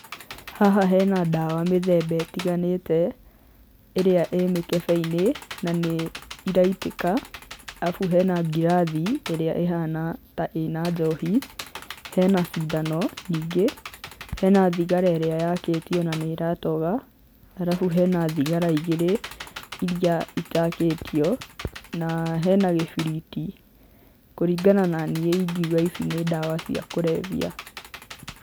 Haha hena ndawa mĩthemba ĩtiganĩte, ĩrĩa ĩ mĩkebe-inĩ na nĩ iraitĩka, arabu hena ngirathi ĩrĩa ĩhana ta ĩna njohi, hena cindano nyingĩ, hena thigara ĩrĩa yakĩtio na nĩ iratoga, arabu hena thigara igĩrĩ iria itakĩtio na hena gĩbiriti, kũringana na niĩ ingiuga ici nĩ ndawa cia kũrebya.